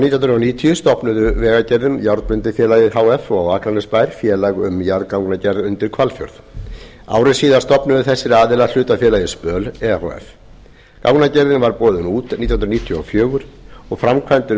hundruð níutíu stofnuðu vegagerðin járnblendifélagið h f og akranesbær félag um jarðgangagerð undir hvalfjörð ári síðar stofnuðu þessir aðilar hlutafélagið spöl e h f gangagerðin var boðin út nítján hundruð níutíu og fjögur framkvæmdir við